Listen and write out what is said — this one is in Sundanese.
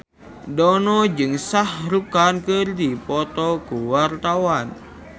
Dono jeung Shah Rukh Khan keur dipoto ku wartawan